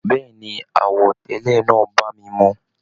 Béèni, àwọ̀ tẹlẹ náà bá mi mu.